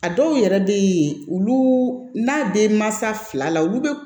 A dɔw yɛrɛ bɛ yen olu n'a denmansa fila la olu bɛ